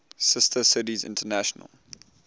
sister cities international